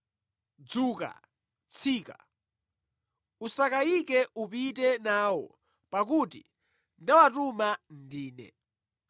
Dzuka, tsika. Usakayike upite nawo pakuti ndawatuma ndine.”